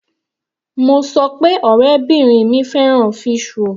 Mo sọ pé ọ̀rẹ́bìrin mi fẹ́ràn fish roll.